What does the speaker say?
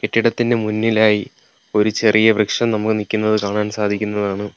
കെട്ടിടത്തിന് മുന്നിലായി ഒരു ചെറിയ വൃക്ഷം നമുക്ക് നിക്കുന്നത് കാണാൻ സാധിക്കുന്നതാണ്.